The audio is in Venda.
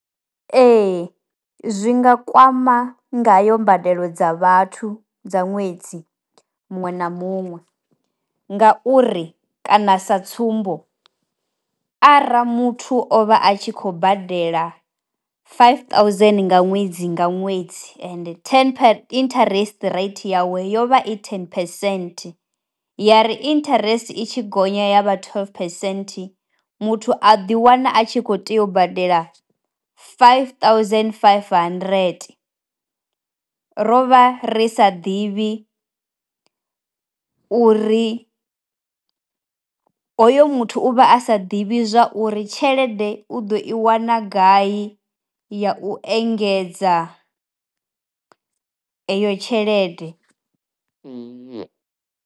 Ee zwi nga kwama ngayo mbadelo dza vhathu dza ṅwedzi muṅwe na muṅwe ngauri kana, sa tsumbo ara muthu o vha a tshi khou badela faifi ṱauzeni nga ṅwedzi nga ṅwedzi ende thene, interest rate yawe yo vha i thene phesenthe ya ri interest i tshi gonya ya vha theḽufu phesenthe muthu a ḓiwana a tshi khou tea u badela faifi ṱuzeni faifi handirente. Ro vha ri sa ḓivhi uri, hoyo muthu u vha a sa ḓivhi zwa uri tshelede u ḓo i wana gai ya u engedza eyo tshelede.